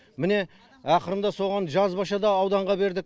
міне ақырында соған жазбаша да ауданға бердік